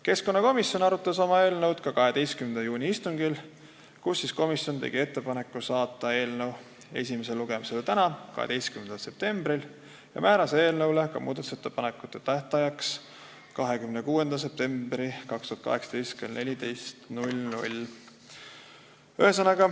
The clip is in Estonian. Keskkonnakomisjon arutas eelnõu ka 12. juuni istungil, kus komisjon tegi ettepaneku saata eelnõu esimesele lugemisele tänaseks, 12. septembriks ja määras konsensusega muudatusettepanekute tähtajaks 26. septembri kell 16.